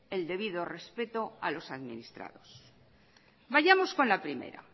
el debido respeto a los administrados vayamos con la primera